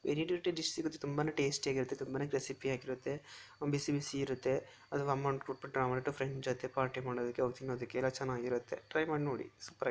Variety dish ಸಿಗುತ್ತೆ ತುಂಬಾ tasty ಆಗಿರುತ್ತೆ ತುಂಬಾನೆ ಕ್ರೇಪಿ ಆಗಿರುತ್ತೆ ಬಿಸಿ ಬೀಸಿ ಇರುತ್ತೆ ಅಮೌಂಟ್ ಕೊಟ್ಟು ಬಿಟ್ಟು ಫ್ರೆಂಡ್ ಜೊತೆ ಪಾರ್ಟಿ ಮಾಡೋದಿಕ್ಕೆ ತಿನ್ನೋದಿಕ್ಕೆ ಎಲ್ಲ ಚನ್ನಾಗಿರುತ್ತೆ ಟ್ರೈ ಮಾಡಿ ನೋಡಿ ಸೂಪರ್ ಹಾಗೆ.